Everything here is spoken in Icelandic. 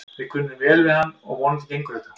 Við kunnum vel við hann og vonandi gengur þetta.